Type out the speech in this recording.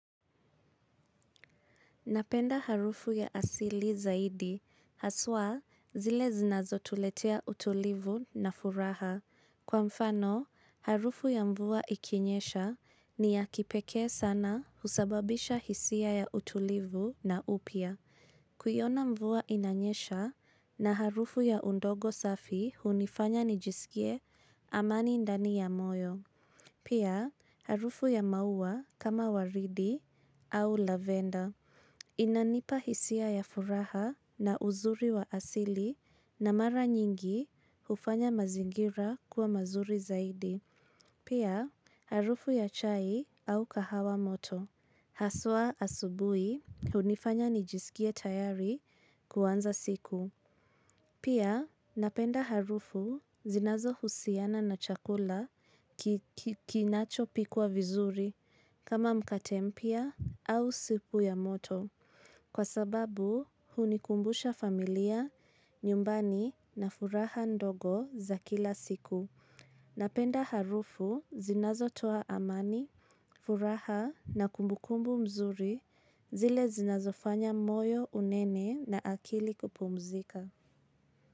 Napenda harufu ya asili zaidi, haswa zile zinazo tuletea utulivu na furaha. Kwa mfano, harufu ya mvua ikinyesha ni ya kipekee sana husababisha hisia ya utulivu na upya. Kuiona mvua inanyesha na harufu ya udongo safi hunifanya nijisikie amani ndani ya moyo. Pia, harufu ya maua kama waridi au lavenda. Inanipa hisia ya furaha na uzuri wa asili na mara nyingi hufanya mazingira kuwa mazuri zaidi. Pia, harufu ya chai au kahawa moto. Haswa asubui, hunifanya nijisikie tayari kuanza siku. Pia, napenda harufu zinazo husiana na chakula kinachopikwa vizuri. Kama mkate mpya au supu ya moto. Kwa sababu hunikumbusha familia, nyumbani na furaha ndogo za kila siku. Napenda harufu zinazo toa amani, furaha na kumbukumbu mzuri zile zinazofanya moyo unene na akili kupumzika.